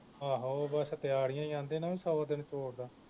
ਆਹੋ ਬਸ ਤਿਆਰੀਆਂ ਈ ਆ ਆਂਦੇ ਨਾ ਸੌ ਦਿਨ ਚੋਰ ਦਾ